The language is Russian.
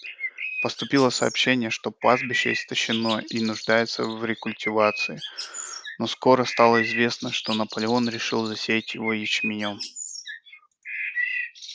поступило сообщение что пастбище истощено и нуждается в рекультивации но скоро стало известно что наполеон решил засеять его ячменём